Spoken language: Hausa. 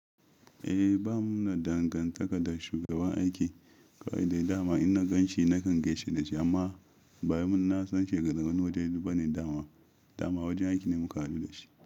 Eh ba mu da dangantaka da shugaban aiki kawai dai dama. In na gan shi na kan gaishe da shi amma baya mun na san shi daga wani wajen ba ne dama. Dama wajen aiki ne mu ka haɗu da shi.